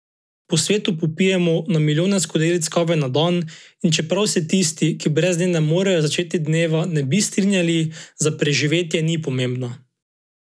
Po svetu popijemo na milijone skodelic kave na dan, in čeprav se tisti, ki brez nje ne zmorejo začeti dneva, ne bi strinjali, za preživetje ni pomembna.